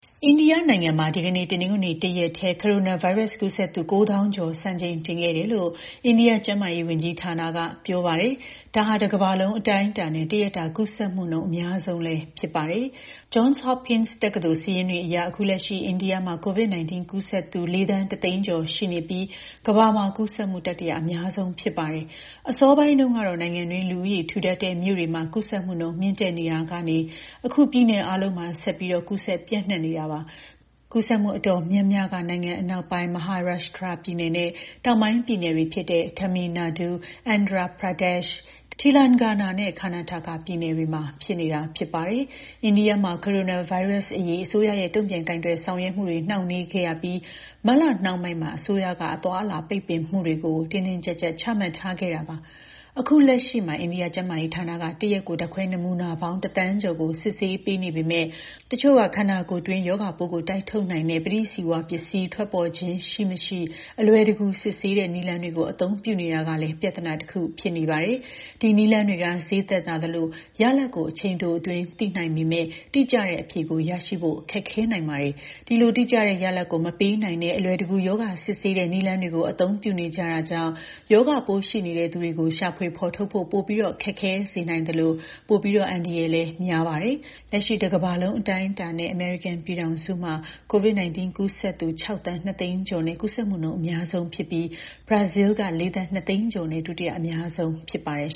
အိန္ဒိယနိုင်ငံမှာ ဒီကနေ့ တနင်္ဂနွေနေ့ တရက်တည်း ကိုရိုနာဗိုင်းရပ်စ် ကူးစက်သူ ၉၀,၀၀၀ ကျော် စံချိန်တင်ခဲ့တယ်လို့ အိန္ဒိယ ကျန်းမာရေးဝန်ကြီးဌာနက ပြောပါတယ်။ ဒါဟာ တကမ္ဘာလုံး အတိုင်းအတာနဲ့ တရက်တာကူးစက်မှုနှုန်း အများဆုံးလည်း ဖြစ်ပါတယ်။ Johns Hopkins တက္ကသိုလ် စာရင်းတွေအရ အခုလက်ရှိ အိန္ဒိယမှာ ကူးစက်သူ ၄,၁၀၀,၀၀၀ ကျော်ရှိနေပြီး ကမ္ဘာမှာ ကူးစက်မှု တတိယအများဆုံး ဖြစ်ပါတယ်။ အစောပိုင်းတုန်းက နိုင်ငံတွင်း လူဦးရေထူထပ်တဲ့ မြို့တွေမှာ ကူးစက်မှု မြင့်တက်နေခဲ့တာကနေ အခု ပြည်နယ်အားလုံးမှာ ဆက်ပြီး ကူးစက်ပျံ့နှံ့နေတာပါ။ ကူးစက်မှု အတော်များများက နိုင်ငံအနောက်ပိုင်း Maharashtra ပြည်နယ်နဲ့ တောင်ပိုင်းပြည်နယ်တွေဖြစ်တဲ့ Tamil Nadu၊ Andhra Pradesh၊ Telangana နဲ့ Karnataka ပြည်နယ်တွေမှာ ဖြစ်နေတာ ဖြစ်ပါတယ်။ အိန္ဒိယမှာ ကိုရိုနာဗိုင်းရပ်စ်အရေး အစိုးရရဲ့ တုံ့ပြန်ကိုင်တွယ်ဆောင်ရွက်မှုတွေ နှောင့်နှေးခဲ့ရပြီး မတ်လနှောင်းပိုင်းမှာ အစိုးရကနေ အသွားအလာ ပိတ်ပင်မှုတွေကို တင်းတင်းကျပ်ကျပ် ချမှတ်ထားခဲ့တာပါ။ အခုလက်ရှိမှာ အိန္ဒိယကျန်းမာရေးဌာနက တရက်ကို ဓာတ်ခွဲနမူနာပေါင်း ၁,၀၀၀,၀၀၀ ကျော်ကို စစ်ဆေးပေးနေပေမယ့် တချို့က ခန္ဓာကိုယ်တွင်း ရောဂါပိုးကို တိုက်ထုတ်နိုင်တဲ့ ပဋိဇီဝပစ္စည်း ထွက်ပေါ်ခြင်း ရှိမရှိ အလွယ်တကူ စစ်ဆေးတဲ့ နည်းလမ်းတွေကို အသုံးပြုနေကြတာကလည်း ပြဿနာတခု ဖြစ်နေပါတယ်။ ဒီနည်းလမ်းတွေက ဈေးသက်သာသလို ရလဒ်ကို အချိန်တိုအတွင်း သိနိုင်ပေမယ့် တိကျတဲ့အဖြေကို ရဖို့ ခက်ခဲနိုင်ပါတယ်။ ဒီလို တိကျတဲ့ရလဒ်ကို မပေးနိုင်တဲ့ အလွယ်တကူ ရောဂါစစ်ဆေးတဲ့ နည်းလမ်းတွေကို အသုံးပြုနေကြတာကြောင့် ရောဂါပိုးရှိနေတဲ့ သူတွေကို ရှာဖွေဖော်ထုတ်ဖို့ ပိုပြီး ခက်ခဲစေနိုင်သလို ပိုပြီး အန္တရာယ်များနိုင်တာပါ။ လက်ရှိ တကမ္ဘာလုံး အတိုင်းအတာနဲ့ အမေရိကန်မှာ ကူးစက်သူ ၆,၂၀၀,၀၀၀ ကျော်နဲ့ ကူးစက်မှုနှုန်း အများဆုံးဖြစ်ပြီး ဘရာဇီးလ်က ၄,၂၀၀,၀၀၀ ကျော်နဲ့ ဒုတိယအများဆုံး ဖြစ်ပါတယ်